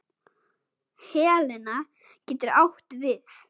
Helena getur átt við